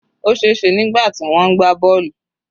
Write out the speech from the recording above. Ó sè se nígbà tí wọ́n ń gbá bọ́ọ̀lù.